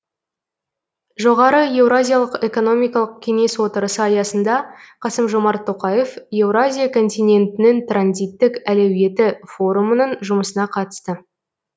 жоғары еуразиялық экономикалық кеңес отырысы аясында қасым жомарт тоқаев еуразия континентінің транзиттік әлеуеті форумының жұмысына қатысты